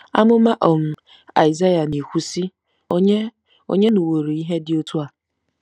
Amụma um Aịsaịa na-ekwu, sị: “Ònye “Ònye nụworo ihe dị otú a?